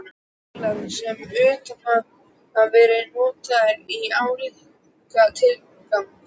Þýskalands sem utan hafi verið notaðir í álíka tilgangi.